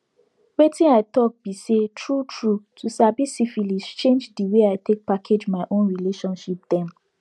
wetin i talk be say true true to sabi syphilis change the way i take package my own relationship dem